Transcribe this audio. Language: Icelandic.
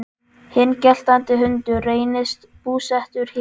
Hinn geltandi hundur reynist búsettur hér.